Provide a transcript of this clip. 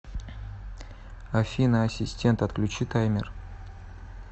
афина ассистент отключи таймер